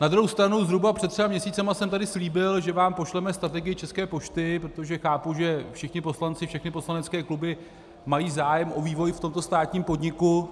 Na druhou stranu zhruba před třemi měsíci jsem tady slíbil, že vám pošleme strategii České pošty, protože chápu, že všichni poslanci, všechny poslanecké kluby mají zájem o vývoj v tomto státním podniku.